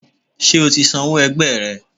ṣe ọ tí sanwó ẹgbẹ rẹ?